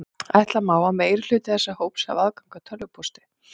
Ætla má að meirihluti þessa hóps hafi aðgang að tölvupósti.